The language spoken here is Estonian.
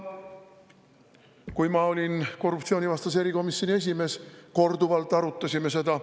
Kui ma olin korruptsioonivastase erikomisjoni esimees, siis me korduvalt arutasime seda.